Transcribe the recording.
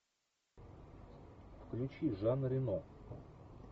включи жан рено